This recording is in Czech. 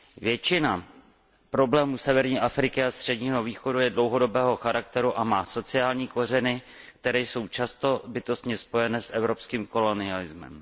Většina problémů severní Afriky a Středního východu je dlouhodobého charakteru a má sociální kořeny, které jsou často bytostně spojené s evropským kolonialismem.